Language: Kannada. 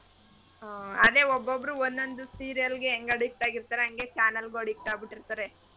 ಹಾ ಅದೇ ಒಬೊಬ್ಬರು ಒಂದೊಂದ್ serial ಗೆ ಹೆಂಗ್ addict ಆಗಿರ್ತಾರೆ ಹಂಗೆ channel ಗು addict ಆಗ್ಬಿಟ್ರ್ತಾರೆ.